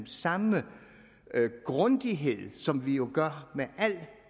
samme grundighed som vi jo gør med al